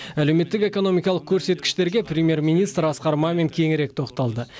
әлеуметтік экономикалық көрсеткіштерге премьер министр асқар мамин кеңірек тоқталды